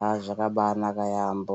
Haa zvakabaanaka yaambo.